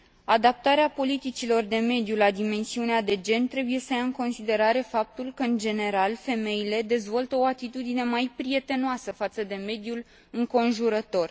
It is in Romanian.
Adaptarea politicilor de mediu la dimensiunea de gen trebuie să ia în considerare faptul că, în general, femeile dezvoltă o atitudine mai prietenoasă față de mediul înconjurător.